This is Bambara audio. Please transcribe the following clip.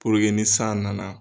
ni san nana